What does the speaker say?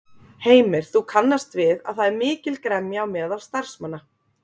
Heimir: Þú kannast við að það er mikil gremja á meðal starfsmanna?